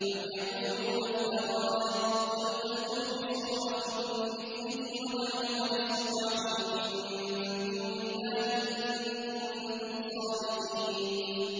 أَمْ يَقُولُونَ افْتَرَاهُ ۖ قُلْ فَأْتُوا بِسُورَةٍ مِّثْلِهِ وَادْعُوا مَنِ اسْتَطَعْتُم مِّن دُونِ اللَّهِ إِن كُنتُمْ صَادِقِينَ